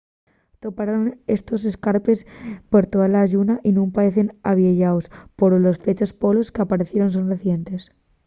toparon estos escarpes per tola lluna y nun paecen avieyaos poro los fechos polos qu'apaecieron son recientes